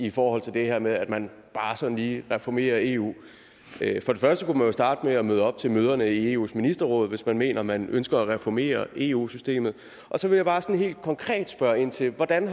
i forhold til det her med at man bare sådan lige reformerer eu for det første kunne man jo starte med at møde op til møderne i eus ministerråd hvis man mener at man ønsker at reformere eu systemet så vil jeg bare sådan helt konkret spørge ind til hvordan